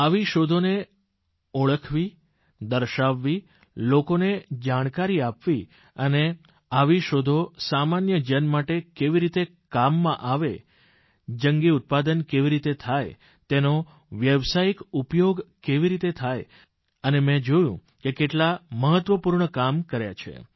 આવી શોધોને ઓળખવી દર્શાવવી લોકોને જાણકારી આપવી અને આવી શોધો સામાન્ય જન માટે કેવી રીતે કામમાં આવે જંગી ઉત્પાદન કેવી રીતે થાય તેનો વ્યાવસાયિક ઉપયોગ કેવી રીતે થાય અને મેં જોયું કે કેટલાં મહત્વપૂર્ણ કામ કર્યાં છે